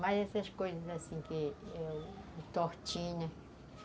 Mais essas coisas assim que... Tortinha.